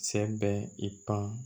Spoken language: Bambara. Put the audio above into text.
Sɛ bɛ i pan